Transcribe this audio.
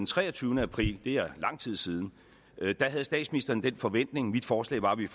treogtyvende april det er lang tid siden havde statsministeren en bestemt forventning mit forslag var at vi